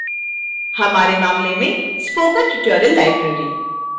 हमारे मामले में spoken tutorial library